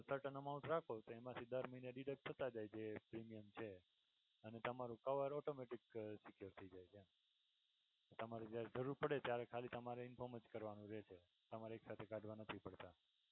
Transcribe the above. Certain amount રાખો કે એમાંથી દર મહિને deduct થતાં જાય કે premium છે અને તમારુ cover automatic secure થઈ જાય એમ છે. તમારું જરૂર પડે ત્યારે તમારે ખાલી inform કરવાનું જ રેહશે તમારે ખાતા માથી કાઢવા નથી પડતાં.